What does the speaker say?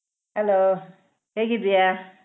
Hello ಹೇಗಿದ್ಯಾ?